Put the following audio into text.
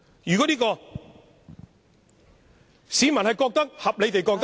如果市民合理地覺得......